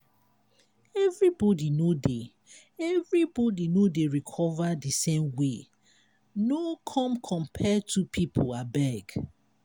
everybody no dey everybody no dey recover di same way no come compare two pipo abeg.